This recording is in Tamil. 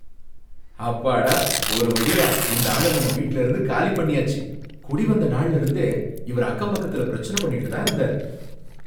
அப்பாடா, ஒருவழியா இந்த ஆள நம்ம வீட்லயிருந்து காலி பண்ணியாச்சு, குடிவந்த நாள்ல இருந்தே இவர் அக்கம்பக்கத்தில பிரச்சனை பண்ணிக்கிட்டு தான் இருந்தார்.